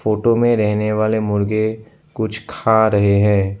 Photo में रहने वाले मुर्गे कुछ खा रहे हैं।